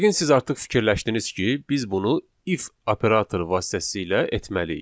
Yəqin siz artıq fikirləşdiniz ki, biz bunu if operatoru vasitəsilə etməliyik.